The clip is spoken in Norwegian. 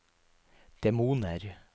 demoner